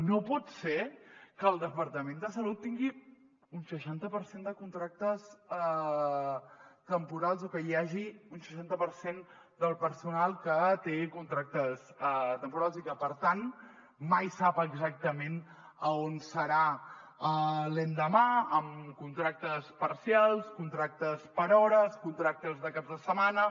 no pot ser que el departament de salut tingui un seixanta per cent de contractes temporals o que hi hagi un seixanta per cent del personal que té contractes temporals i que per tant mai sap exactament on serà l’endemà amb contractes parcials contractes per hores contractes de caps de setmana